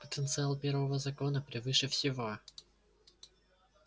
потенциал первого закона превыше всего